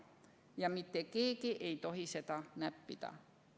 Ja mitte keegi ei tohi seda näppida.